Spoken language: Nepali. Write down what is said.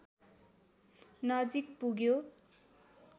नजिक पुग्यो